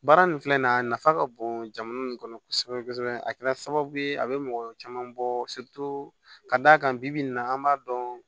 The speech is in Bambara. Baara nin filɛ nin ye a nafa ka bon jamana in kɔnɔ kosɛbɛ kosɛbɛ a kɛra sababu ye a bɛ mɔgɔ caman bɔ ka d'a kan bi bi in na an b'a dɔn